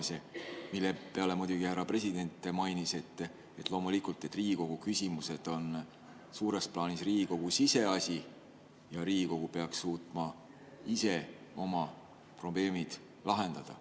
Selle peale muidugi härra president märkis, et loomulikult on Riigikogu küsimused suures plaanis Riigikogu siseasi ja Riigikogu peaks suutma ise oma probleemid lahendada.